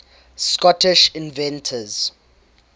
scottish inventors